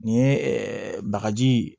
Nin ye ɛɛ bagaji ye